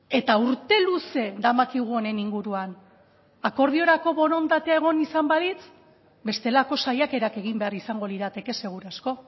eta urte luze damakigu honen inguruan akordiorako borondatea egon izan balitz bestelako saiakerak egin behar izango lirateke seguru asko